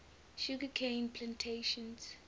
sugar cane plantations